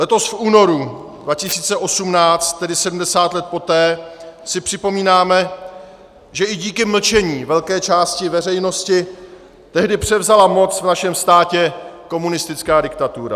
Letos v únoru 2018, tedy 70 let poté, si připomínáme, že i díky mlčení velké části veřejnosti tehdy převzala moc v našem státě komunistická diktatura.